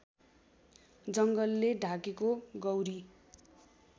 जङ्गलले ढाकेको गौरी